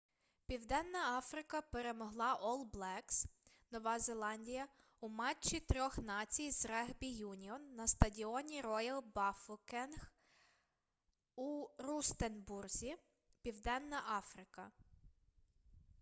південна африка перемогла ол блекс нова зеландія у матчі трьох націй з регбі-юніон на стадіоні роял бафокенг у рустенбурзі південна африка